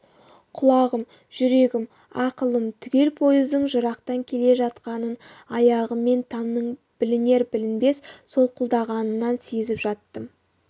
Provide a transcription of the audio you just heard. құлағым жүрегім ақылым түгел пойыздың жырақтан келе жатқанын аяғыммен тамның білінер-білінбес солқылдағанынан сезіп жаттым